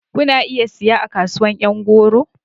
Kuna iya siya a kasuwar yan goro.